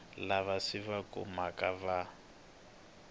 lava swi va khumbhaka va